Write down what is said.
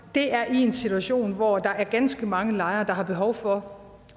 er i en situation hvor der er ganske mange lejere der har behov for